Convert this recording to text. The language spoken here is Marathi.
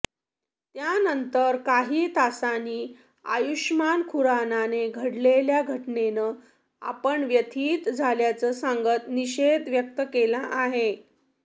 त्यानंतर काही तासांनी आयुषमान खुरानाने घडलेल्या घटनेनं आपण व्यथित झाल्याचं सांगत निषेध व्यक्त केला आहे